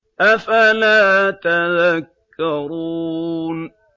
أَفَلَا تَذَكَّرُونَ